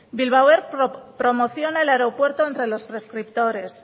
bilbao air promociona el aeropuerto entre los prescriptores